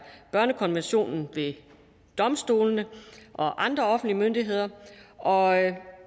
børnekonventionen ved domstolene og andre offentlige myndigheder og